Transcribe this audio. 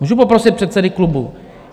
Můžu poprosit předsedy klubu? .